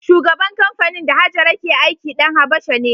Shugaban kamfanin da Hajara ke aiki ɗan Habasha ne.